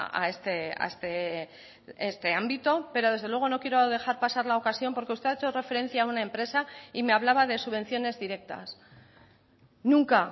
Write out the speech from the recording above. a este ámbito pero desde luego no quiero dejar pasar la ocasión porque usted ha hecho referencia a una empresa y me hablaba de subvenciones directas nunca